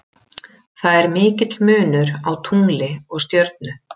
Það er mikill munur á tungli og stjörnu.